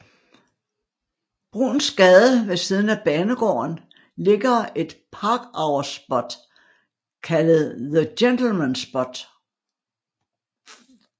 Bruuns Gade ved siden af banegården ligger et parkour spot kaldet The Gentleman Spot